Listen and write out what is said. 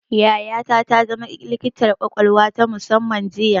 Yayata ta zama likitar ƙwaƙwalwa ta musamman jiya